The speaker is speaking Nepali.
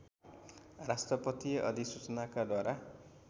राष्ट्रपतीय अधिसूचनाका द्वारा